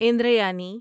اندریانی